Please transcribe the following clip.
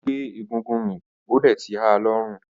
Ó gbé egúngún mì ó dẹ̀ ti ha lọ́fun.